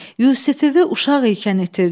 Yusifivi uşaq ikən itirdin.